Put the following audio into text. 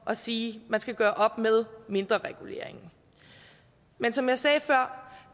at sige at man skal gøre op med mindrereguleringen men som jeg sagde før